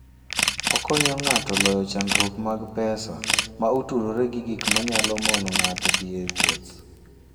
Okonyo ng'ato loyo chandruok mag pesa ma otudore gi gik ma nyalo mono ng'ato dhi e wuoth.